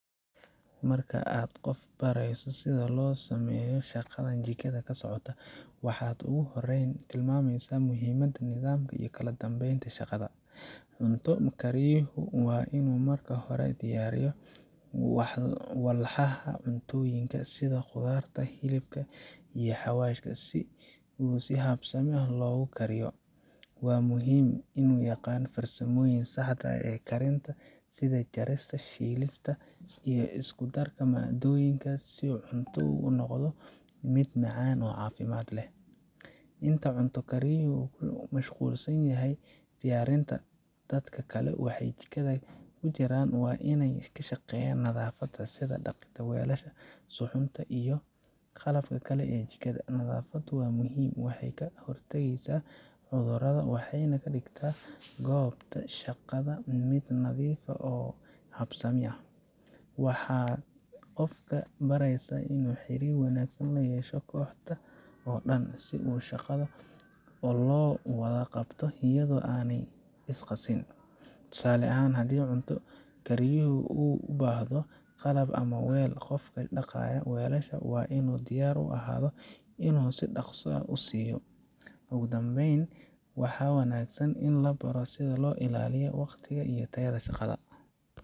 Marka aad qof barato sida loo sameeyo shaqadan jikada ka socota, waxaad ugu horreyn tilmaamaysaa muhiimadda nidaamka iyo kala dambeynta shaqada. Cunto kariyuhu waa inuu marka hore diyaariyo walxaha cuntooyinka, sida khudaarta, hilibka, iyo xawaashka, si si habsami leh loogu kariyo. Waa muhiim inuu yaqaan farsamooyinka saxda ah ee karinta, sida jarista, shiilista, iyo isku darka maaddooyinka si cuntadu u noqoto mid macaan oo caafimaad leh. Inta cunto kariyuhu ku mashquulsan yahay diyaarinta, dadka kale ee jikada ku jira waa inay ka shaqeeyaan nadaafadda, sida dhaqida weelasha, suxuunta iyo qalabka kale ee jikada. Nadaafaddu waa muhiim, waxay ka hortagtaa cudurrada waxayna ka dhigtaa goobta shaqada mid nadiif ah oo habsami ah. Waxaad qofka baraysaa inuu xiriir wanaagsan la yeesho kooxda oo dhan, si shaqada loo wada qabto iyadoo aanay is qasin. Tusaale ahaan, haddii cunto kariyuhu u baahdo qalab ama weel, qofka dhaqaya weelasha waa inuu diyaar u ahaado inuu si dhaqso ah u siiyo. Ugu dambeyn, waxaa wanaagsan in la baro sida loo ilaaliyo waqtiga iyo tayada shaqada